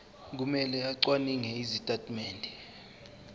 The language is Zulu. kumele acwaninge izitatimende